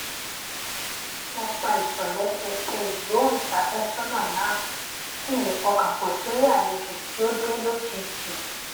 mo pa ìtòlésẹẹsẹ ìgbóhùnsáfésónà náà kí n lè pọkàn pò sórí àlejò tí ó dé lójijì